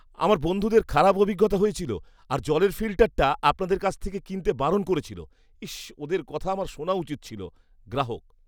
আমার বন্ধুদের খারাপ অভিজ্ঞতা হয়েছিল আর জলের ফিল্টারটা আপনাদের কাছ থেকে কিনতে বারণ করেছিল। ইস্, ওদের কথা আমার শোনা উচিত ছিল। গ্রাহক